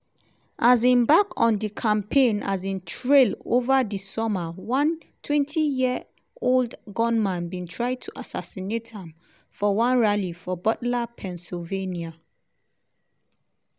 um back on di campaign um trail ova di summer one 20-year-old gunman bin try to assassinate am for one rally for butler pennsylvania.